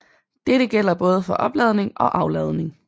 Dette gælder både for opladning og afladning